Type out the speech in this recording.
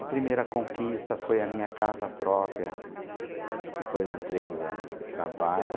A primeira conquista foi a minha casa própria, depois de três anos de trabalho. A sua